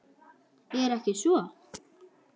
Er ekki svo?